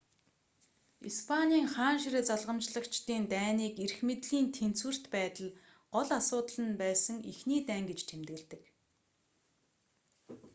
испанийн хаан ширээ залгамжлагчдын дайныг эрх мэдлийн тэнцвэрт байдал гол асуудал нь байсан эхний дайн гэж тэмдэглэдэг